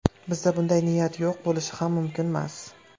Bizda bunday niyat yo‘q, bo‘lishi ham mumkinmas.